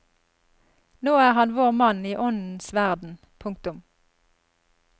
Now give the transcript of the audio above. Nå er han vår mann i åndens verden. punktum